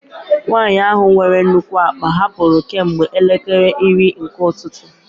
Nwanyị ahụ nwere nnukwu akpa hapụrụ kemgbe elekere iri nke ụtụtụ.